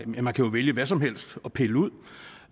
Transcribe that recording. man kan jo vælge hvad som helst at pille ud